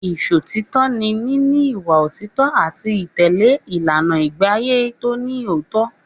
Ìṣọ̀títọ́ ni níní ìwà òtítọ́ àti títẹ̀lé ìlànà ìgbéàyé tó ní òótọ́.